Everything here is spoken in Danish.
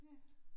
Ja